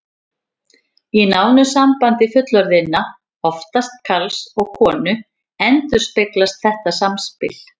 Í nánu sambandi fullorðinna, oftast karls og konu, endurspeglast þetta samspil.